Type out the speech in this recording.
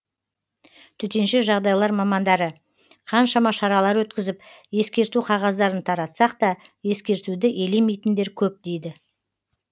төтенше жағдайлар мамандары қаншама шаралар өткізіп ескерту қағаздарын таратсақ та ескертуді елемейтіндер көп дейді